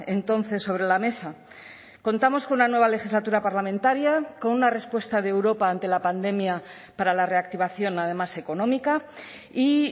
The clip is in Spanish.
entonces sobre la mesa contamos con una nueva legislatura parlamentaria con una respuesta de europa ante la pandemia para la reactivación además económica y